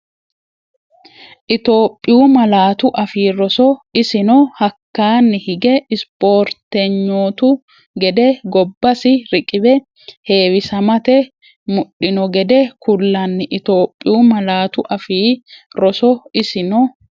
Itophiyu Malaatu Afii Roso Isino hakkaanni hige ispoortenyootu gede gobbasi riqiwe heewisamate mudhino gede kullanni Itophiyu Malaatu Afii Roso Isino.